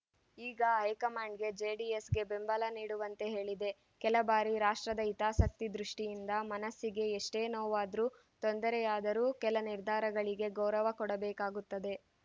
ಈಗ ಹೈಕಮಾಂಡ್‌ ಜೆಡಿಎಸ್‌ಗೆ ಬೆಂಬಲ ನೀಡುವಂತೆ ಹೇಳಿದೆ ಕೆಲ ಬಾರಿ ರಾಷ್ಟ್ರದ ಹಿತಾಸಕ್ತಿ ದೃಷ್ಟಿಯಿಂದ ಮನಸ್ಸಿಗೆ ಎಷ್ಟೇ ನೋವಾದ್ರೂ ತೊಂದರೆಯಾದರೂ ಕೆಲ ನಿರ್ಧಾರಗಳಿಗೆ ಗೌರವ ಕೊಡಬೇಕಾಗುತ್ತದೆ